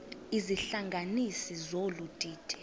izihlanganisi zolu didi